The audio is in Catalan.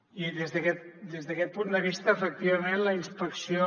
i des d’aquest punt de vista efectivament la inspecció